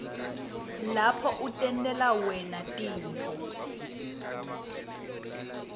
lapho utentela wena tinifo